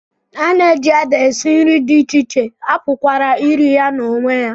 A na-eji ede esi nri dị iche iche, a pụkwara iri ya n'onwe ya.